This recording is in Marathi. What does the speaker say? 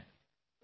हो सर